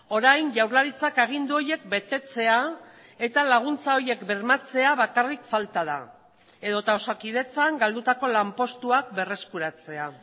orain jaurlaritzak agindu horiek betetzea eta laguntza horiek bermatzea bakarrik falta da edota osakidetzan galdutako lanpostuak berreskuratzea